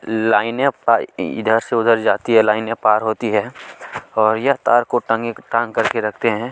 लाइने इधर से उधर जाती है लाइने पार होती है और यह तार को तंग टांग कर रखते हैं।